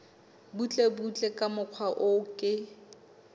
butlebutle ka mokgwa o ke